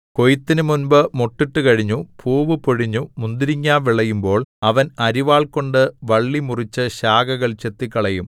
കൊയ്ത്തിനു മുമ്പ് മൊട്ടിട്ടു കഴിഞ്ഞു പൂവ് പൊഴിഞ്ഞു മുന്തിരിങ്ങാ വിളയുമ്പോൾ അവൻ അരിവാൾകൊണ്ടു വള്ളി മുറിച്ചു ശാഖകൾ ചെത്തിക്കളയും